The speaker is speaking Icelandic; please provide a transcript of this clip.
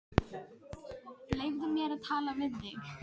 Leyfðu mér að tala við þig!